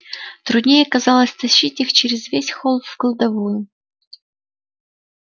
труднее оказалось тащить их через весь холл в кладовую